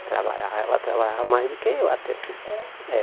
Trabalhava ela trabalhava mais do que eu até. É É